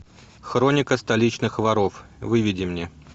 хроника столичных воров выведи мне